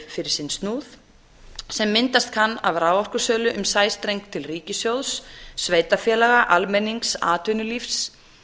fyrir sinn snúð sem myndast kann af raforkusölu um sæstreng til ríkissjóðs sveitarfélaga almennings atvinnulífs